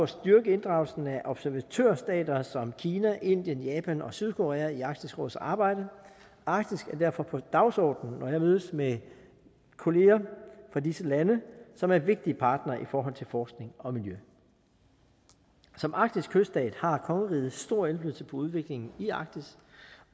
styrke inddragelsen af observatørstater som kina indien japan og sydkorea i arktisk råds arbejde arktis er derfor på dagsordenen når jeg mødes med kolleger fra disse lande som er vigtige partnere i forhold til forskning og miljø som arktisk kyststat har kongeriget stor indflydelse på udviklingen i arktis